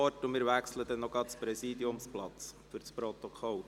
Ich gebe ihr das Wort und übergebe den Präsidiumsplatz Grossrat Zaugg.